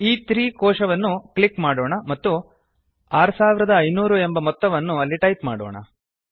ಇ3 ಕೋಶವನ್ನು ಕ್ಲಿಕ್ ಮಾಡೊಣ ಮತ್ತು 6500 ಎನ್ನುವ ಮೊತ್ತವನ್ನು ಅಲ್ಲಿ ಟೈಪ್ ಮಾಡೊಣ